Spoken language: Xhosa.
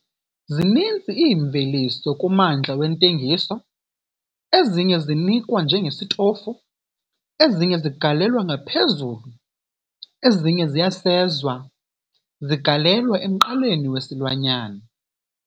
Zininzi iimveliso kummandla wentengiso, ezinye zinikwa njengesitofu, ezinye zigalelwa ngaphezulu ezinye ziyasezwa zigalelwa emqaleni wesilwanyana.